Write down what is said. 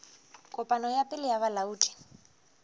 kopano ya pele ya bolaodi